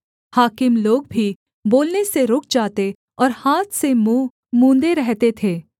हाकिम लोग भी बोलने से रुक जाते और हाथ से मुँह मूँदे रहते थे